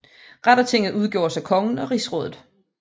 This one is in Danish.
Rettertinget udgjordes af kongen og Rigsrådet